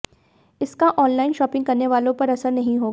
इसका online shopping करने वालों पर असर नहीं होगा